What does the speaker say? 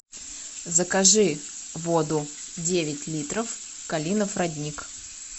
закажи воду девять литров калинов родник